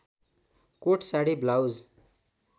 coat sari blouse